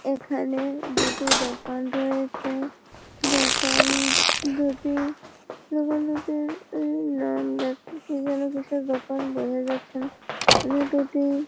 এখানে দুটি দোকান রয়েছে। দোকান দুটি-ই দোকান দুটির এ নাম না কি যেন কিসের দোকান বোঝা যাচ্ছে না এ দুটি --